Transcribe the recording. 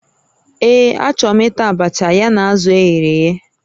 Ee, achọrọ m ịta abacha ya na azụ eghere eghe